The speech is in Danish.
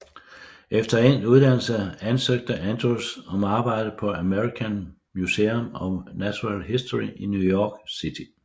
Efter endt uddannelse ansøgte Andrews om arbejde på American Museum of Natural History i New York City